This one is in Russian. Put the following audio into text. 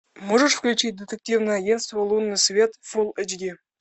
можешь включить детективное агентство лунный свет фул эйч ди